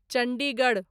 Chandigarh